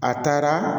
A taara